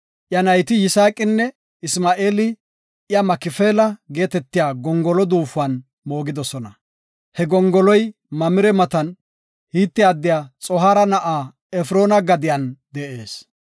Iya nayti Yisaaqinne Isma7eeli iya Makifeela geetetiya gongolo duufuwan moogidosona; he gongoloy Mamire matan, Hite addiya Xohaara na7a Efroona gadiyan de7ees.